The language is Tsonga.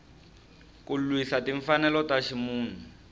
ku lwisa timfanelo ta ximunhu